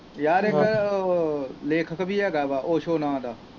ਯਾਰ ਲੇਖਕ ਵੀ ਹੈ ਗਾ ਵਾ ਉਸੇ ਨਾਂ ਦਾ।